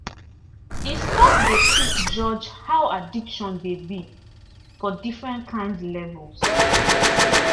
e stop dey quick judge how addiction dey be for different kind levels.